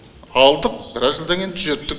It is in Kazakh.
алдық біраз жылдан кейін түзеттік